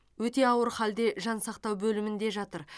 өте ауыр халде жансақтау бөлімінде жатыр